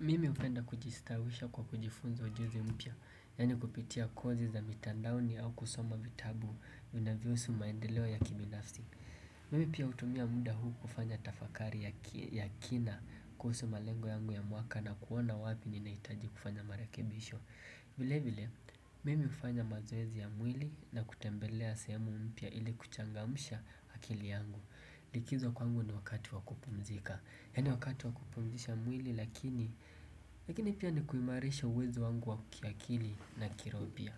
mimi upenda kujistawisha kwa kujifunza ujuzi mpya, yaani kupitia kozi za mitandaoni au kusoma vitabu vinavyousu maendeleoya kibinafsi. Mimi pia utumia muda huu kufanya tafakari ya kina kuhusu malengo yangu ya mwaka na kuona wapi ninaitaji kufanya marakebisho. Vile vile, mimi ufanya mazoezi ya mwili na kutembelea sehemu mpya ili kuchangamsha akili yangu. Likizo kwangu ni wakati wa kupumzika yaani wakati wa kupumzisha mwili lakini lakini pia ni kuimarisha uwezo wangu wa kiakili na kiroho pia.